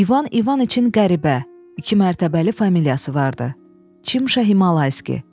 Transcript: İvan İvaniçin qəribə, iki mərtəbəli familiyası vardı: Çimşa-Himalayski.